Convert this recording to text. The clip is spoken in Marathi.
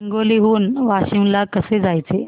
हिंगोली हून वाशीम ला कसे जायचे